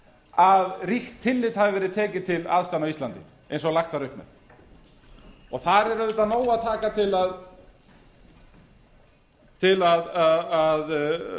að ríkt tillit hafi verið tekið til aðstæðna á íslandi eins og lagt var upp með þar er auðvitað af nógu að taka til að